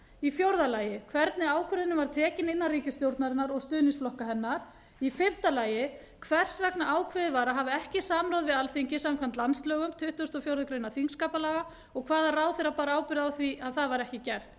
það mat d hvernig ákvörðunin var tekin innan ríkisstjórnarinnar og stuðningsflokka hennar e hvers vegna ákveðið var að hafa ekki samráð við alþingi samkvæmt landslögum tuttugasta og fjórðu greinar þingskapalaga og hvaða ráðherra bar ábyrgð á því að það var ekki gert